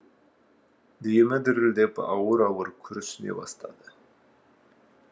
демі дірілдеп ауыр ауыр күрсіне бастады